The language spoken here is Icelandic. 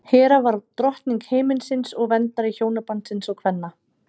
hera var drottning himinsins og verndari hjónabandsins og kvenna